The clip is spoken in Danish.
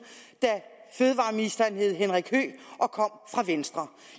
da fødevareministeren hed henrik høegh og kom fra venstre